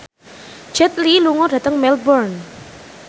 Jet Li lunga dhateng Melbourne